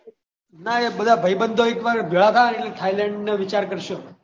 ના એ બધા હોય એક વાર ભેળા થયા ને તો થઈલેન્ડ વિચાર કરશું